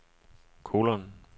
kolon